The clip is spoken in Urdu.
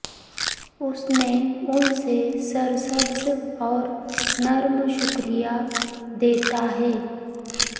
اس نے ان سے سرسبز اور نرم شکریہ دیتا ہے